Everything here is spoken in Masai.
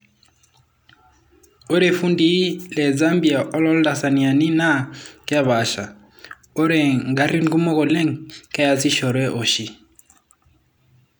'Ore fundii le Zambia woltanzaniani naa kepasha, ore ngarin kumok oleng keyasishore oshi.